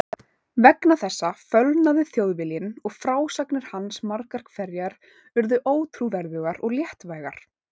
Vegna þessa fölnaði Þjóðviljinn og frásagnir hans margar hverjar urðu ótrúverðugar og léttvægar.